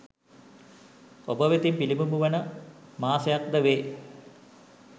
ඔබ වෙතින් පිළිබිඹු වන මාසයක් ද වේ